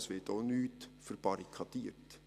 Es wird auch nichts verbarrikadiert.